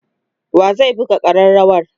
wa zai buga karrawar?